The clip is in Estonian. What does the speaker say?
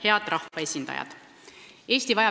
Head rahvaesindajad!